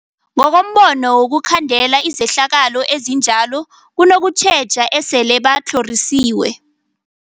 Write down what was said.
Ngokombono wokhandela izehlakalo ezinjalo kunokutjheja esele batlhorisiwe.